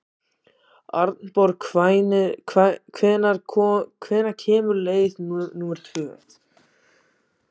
Arnborg, hvenær kemur leið númer tvö?